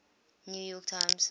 new york times